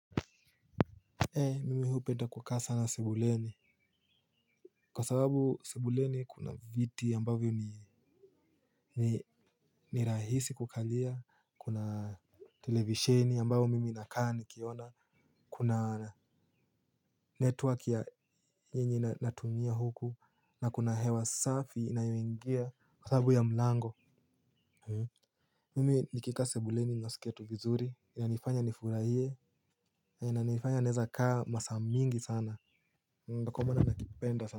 Mimi hupenda kukaa sana sebuleni kwa sababu sebuleni kuna viti ambavyo ni rahisi kukalia kuna televisheni ambao mimi nakaa nikiona kuna network ya yenye natumia huku na kuna hewa safi inayoingia kwa sababu ya mlango. Mimi nikika sebuleni nasikia tu vizuri inanifanya nifurahie inanifanya neza kaa masa mingi sana kwa maana najipenda sana.